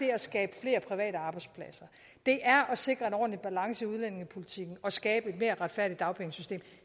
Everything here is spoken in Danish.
at skabe flere private arbejdspladser det er at sikre en ordentlig balance i udlændingepolitikken og skabe et mere retfærdigt dagpengesystem